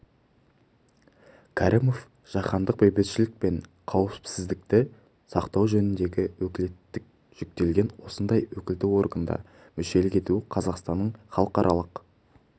кәрімов жаһандық бейбітшілік пен қауіпсіздікті сақтау жөніндегі өкілеттік жүктелген осындай өкілді органда мүшелік ету қазақстанның халықаралық